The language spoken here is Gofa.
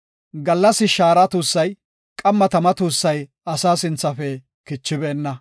Gallas shaara tuussay, qamma tama tuussay asaa sinthafe kichibeenna.